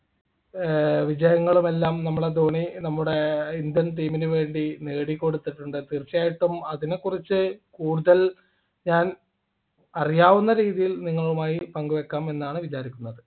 ഏർ വിജയങ്ങളുമെല്ലാം നമ്മളെ ധോണി നമ്മുടെ indian team നു വേണ്ടി നേടിക്കൊടുത്തിട്ടുണ്ട് തീർച്ചയായിട്ടും അതിനെക്കുറിച്ചു കൂടുതൽ ഞാൻ അറിയാവുന്ന രീതിയിൽ നിങ്ങളുമായി പങ്കുവയ്ക്കാം എന്നാണ് വിചാരിക്കുന്നത്